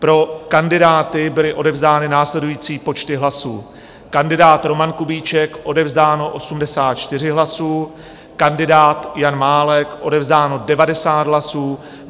Pro kandidáty byly odevzdány následující počty hlasů: kandidát Roman Kubíček - odevzdáno 84 hlasů, kandidát Jan Málek - odevzdáno 90 hlasů.